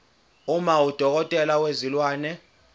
uma udokotela wezilwane